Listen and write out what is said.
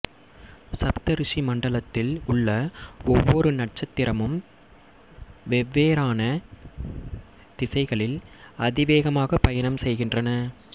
சப்தரிசி மண்டலத்தில் உள்ள ஒவ்வொரு நட்சத்திரமும் வெற்வேறான திசைகளில் அதிவேகமாகப் பயணம் செய்கின்றன